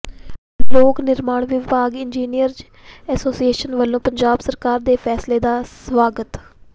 ਲੋਕ ਨਿਰਮਾਣ ਵਿਭਾਗ ਇੰਜੀਨੀਅਰਜ਼ ਐਸੋਸੀਏਸ਼ਨ ਵਲੋਂ ਪੰਜਾਬ ਸਰਕਾਰ ਦੇ ਫੈਸਲੇ ਦਾ ਸਵਾਗਤ